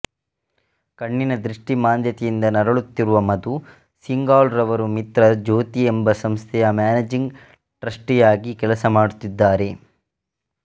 ಕಣ್ಣಿನ ದೃಷ್ಟಿಮಾಂದ್ಯತೆಯಿಂದ ನರಳುತ್ತಿರುವ ಮಧು ಸಿಂಘಾಲ್ ರವರು ಮಿತ್ರ ಜ್ಯೋತಿಯೆಂಬ ಸಂಸ್ಥೆಯ ಮ್ಯಾನೇಜಿಂಗ್ ಟ್ರಸ್ಟಿಯಾಗಿ ಕೆಲಸಮಾಡುತ್ತಿದ್ದಾರೆ